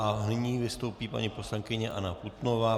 A nyní vystoupí paní poslankyně Anna Putnová.